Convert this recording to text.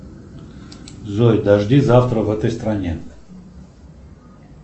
джой дожди завтра в этой стране